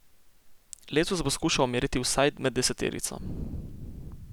Letos bo skušal meriti vsaj med deseterico.